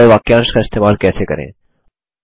group by वाक्यांश का इस्तेमाल करें